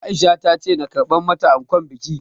Aisha ta ce na karɓar mata ankon bikin